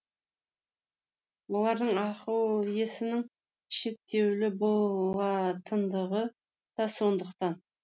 олардың ақыл есінің шектеулі болатындығы да сондықтан